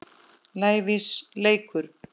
lævís leikur.